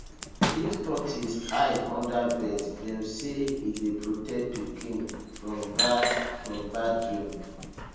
if tortoise hide under bed dem say e dey protect pikin from bad from bad dream